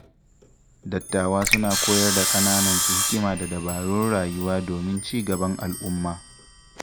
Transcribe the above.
Dattawa suna koyar da ƙananansu hikima da dabarun rayuwa domin ci gaban al’umma.